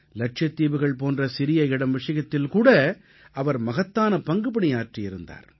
லட்சத்தீவுகள் போன்ற சிறிய இடம் விஷயத்தில் கூட அவர் மகத்தான பங்குபணி ஆற்றியிருக்கிறார்